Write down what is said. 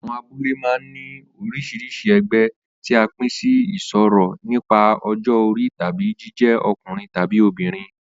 Àwo̩n abúlé máa ń ní orís̩irís̩i e̩gbé̩ tí a pín sí ìsò̩rí nípa o̩jó̩ orí tàbí jíjé̩ o̩kùnrin tábí obìnrin